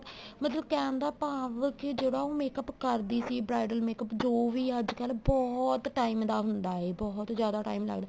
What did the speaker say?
ਮਤਲਬ ਕਹਿਣ ਦਾ ਭਾਵ ਜਿਹੜਾ ਉਹ makeup ਕਰਦੀ ਸੀ bridal makeup ਜੋ ਵੀ ਆ ਅੱਜ ਕੱਲ ਬਹੁਤ time ਦਾ ਹੁੰਦਾ ਏ ਬਹੁਤ ਜਿਆਦਾ time ਲੱਗਦਾ ਏ